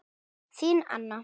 Þín, Anna.